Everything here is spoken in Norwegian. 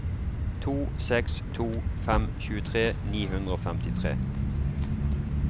to seks to fem tjuetre ni hundre og femtitre